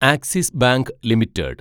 axis Bank limited